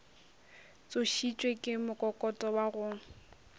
tsošitšwe ke mokokoto wa go